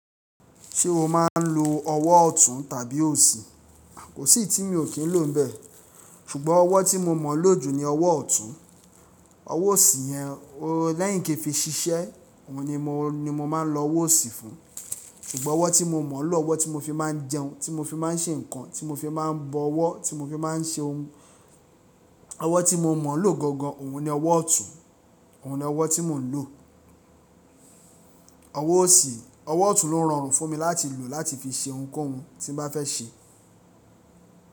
Ṣé o máa ń lo ọwọ́ ọ̀tún tàbí òsì? Kò sí eyi tí mi ò kín lò bẹ́ẹ̀, ṣùgbọ́n ọwọ́ tí mo mọ̀ lò jù ni ọwọ́ ọ̀tún. Ọwọ́ òsì yẹn, lẹ́yìn kí fi ṣiṣẹ́, òhun ni mo máa ń lo ọwọ́ òsì fún. Ṣugbọn owó tí mo mọ̀ lọ, owó tí mo fi máa n jẹun, tí mo fi máa ń ṣe nǹkan, tí mo fi máa ń bọ̀wọ̀, tí mo fi máa ń ṣe òun. Ọwọ́ tí mo mọ̀ lò gangan, òhun ni ọwọ́ ọ̀tún, ọ̀hun ni ọwọ́ tí mò ń lò. Ọwọ́ ọ̀tún ló rọrùn fún mi láti lò láti fi ṣe ohunkóhun tí n bá fẹ́ ṣe.